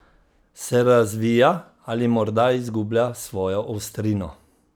Se razvija ali morda izgublja svojo ostrino?